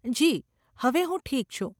જી, હવે હું ઠીક છું.